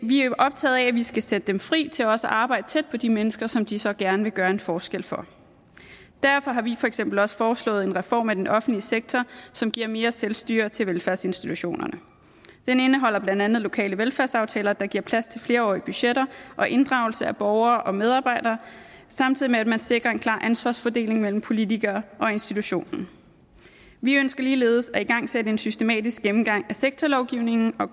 er optaget af at vi skal sætte dem fri til også at arbejde tæt på de mennesker som de så gerne vil gøre en forskel for derfor har vi for eksempel også foreslået en reform af den offentlige sektor som giver mere selvstyre til velfærdsinstitutionerne den indeholder blandt andet lokale velfærdsaftaler der giver plads til flerårige budgetter og inddragelse af borgere og medarbejdere samtidig med at man sikrer en klar ansvarsfordeling mellem politikere og institutionerne vi ønsker ligeledes at igangsætte en systematisk gennemgang af sektorlovgivningen og